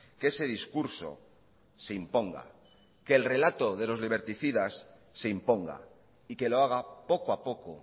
que ese discurso se imponga que el relato de los liberticidas se imponga y que lo haga poco a poco